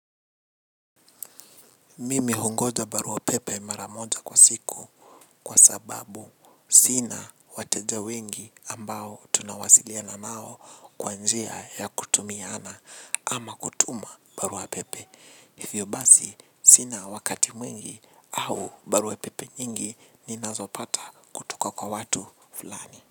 Mimi hungoja barua pepe mara moja kwa siku kwa sababu sina wateja wengi ambao tunawasiliana nao kwa njia ya kutumiana ama kutuma barua pepe. Hivyo basi sina wakati mwingi au barua pepe nyingi ninazopata kutoka kwa watu fulani.